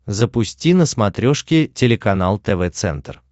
запусти на смотрешке телеканал тв центр